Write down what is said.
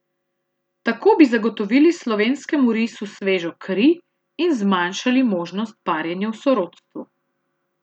Tako bi zagotovili slovenskemu risu svežo kri in zmanjšali možnost parjenja v sorodstvu.